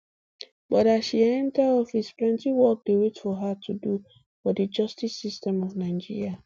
but as she enta office plenti work dey wait for her to do for di justice system of nigeria